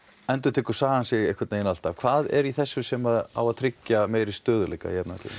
endurtekur sagan sig einhvern veginn alltaf hvað er í þessu sem á að tryggja meiri stöðugleika